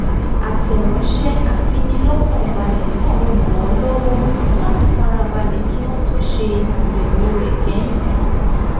àtẹ̀ránṣẹ́ afinilọ́kànbale náà ràn-án lọ́wọ́ láti farabalẹ̀ kí wọ́n tó ṣe àyẹ̀wò rẹ̀ kẹ́yìn